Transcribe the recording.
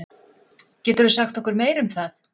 Geturðu sagt okkur meira um það?